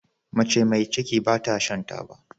Mace me ciki bata Shan taba